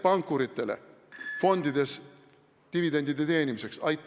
Kas pankuritele fondides dividendide teenimiseks?